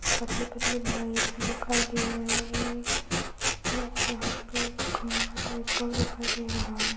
पतले-पतले wire भी दिखाई दे रहे हैं और यहाँ पे खम्बा टाइप का दिखाई दे रहा है।